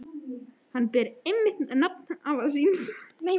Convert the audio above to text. Hann ber einmitt nafn afa míns.